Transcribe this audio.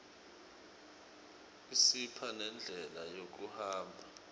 isipha nendlela yekuhamba